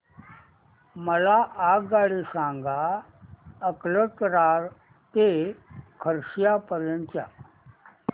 मला आगगाडी सांगा अकलतरा ते खरसिया पर्यंत च्या